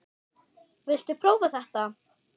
Viltu prófa þetta?